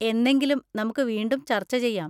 എന്നെങ്കിലും നമുക്ക് വീണ്ടും ചർച്ച ചെയ്യാം.